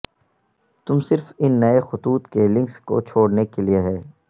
تم صرف ان نئے خطوط کے لنکس کو چھوڑنے کے لئے ہے